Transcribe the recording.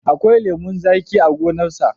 Akwai lemon zaƙi a gonarsa.